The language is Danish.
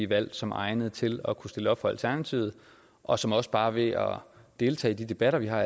valgt som egnede til at kunne stille op for alternativet og som også bare ved at deltage i de debatter vi har